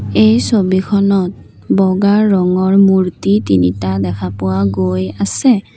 এই ছবিখনত বগা ৰঙৰ মূৰ্ত্তি তিনিটা দেখা পোৱা গৈ আছে।